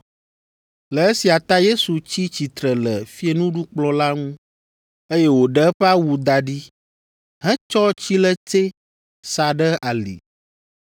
Le esia ta Yesu tsi tsitre le fiẽnuɖukplɔ̃ la ŋu, eye wòɖe eƒe awu da ɖi hetsɔ tsiletsɛ sa ɖe ali.